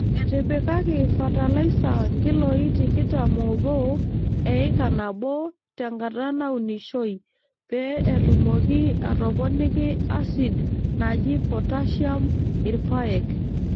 Etipikaki fatalaisa nkiloi tikitam oobo eika nabo te nkata naunishoi pee etumoki aatoponiki asid naji potashiam irpaek.